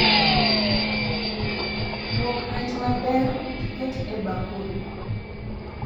Luok rech maber tiket e bakul